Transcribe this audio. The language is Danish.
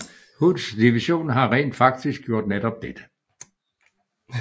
Hoods division havde rent faktisk gjort netop dette